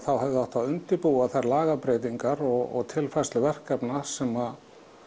hefði átt að undirbúa þær lagabreytingar og tilfærslu verkefna sem